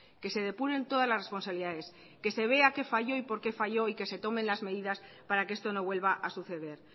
que se depuren todas las responsabilidades que se vea qué falló y por qué falló y que se tomen las medidas para que esto no vuelva a suceder